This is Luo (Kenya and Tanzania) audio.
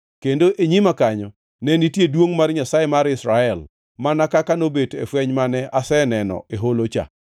Kendo e nyima kanyo, ne nitie duongʼ mar Nyasaye mar Israel, mana kaka nobet e fweny mane aseneno e holocha.